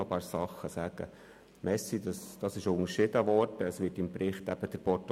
Danke, dass Sie meine und die Motion von Bortoluzzi unterschieden haben.